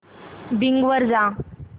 Bing वर जा